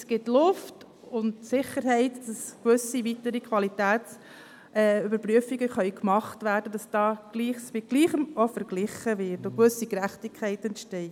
Dies gibt Luft und die Sicherheit, dass gewisse weitere Qualitätsüberprüfungen gemacht werden können, und dass Gleiches mit Gleichem verglichen wird und eine gewisse Gerechtigkeit entsteht.